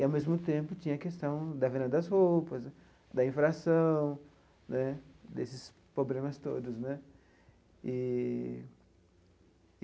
E, ao mesmo tempo, tinha a questão da venda das roupas, da inflação né, desses problemas todos né eee.